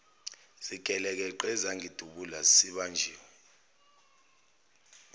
zigelekeqe ezangidubula sibanjiwe